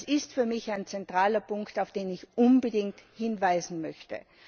Das ist für mich ein zentraler Punkt, auf den ich unbedingt hinweisen möchte.